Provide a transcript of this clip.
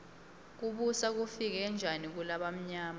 kubusa kufike njani kulabamyama